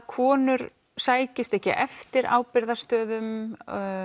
konur sækist ekki eftir ábyrgðarstöðum